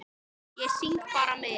Ég syng bara með.